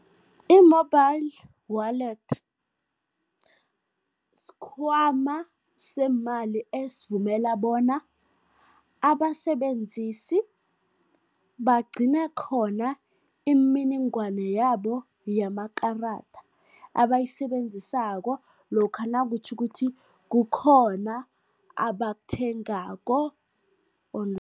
I-mobile wallet sikhwama seemali esivumela bona abasebenzisi bagcine khona imininingwana yabo yamakarada abayisebenzisako lokha nakutjho ukuthi kukhona abakuthengako